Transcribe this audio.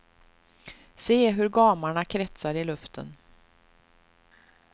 Se hur gamarna kretsar i luften.